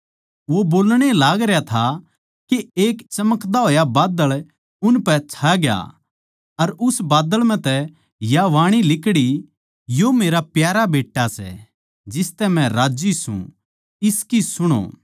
वो बोल्लणए लागरया था के एक धोळा बादळ उनपै छाग्या अर उस बादळ म्ह तै या बाणी लिकड़ी यो मेरा प्यारा बेट्टा सै जिसतै मै राज्जी सूं इसकी सुणो